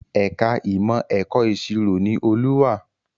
Ẹ̀ka ìmọ̀ ẹ̀kọ́ ìṣirò ni Olú wà